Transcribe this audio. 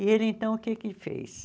E ele, então, o que que fez?